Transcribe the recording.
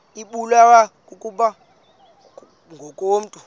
ibulewe kukopha ngokomntu